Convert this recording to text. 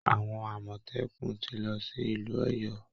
Àwọn Àmọ̀tẹ́kùn ti lọ sí ìlú Ọ̀yọ́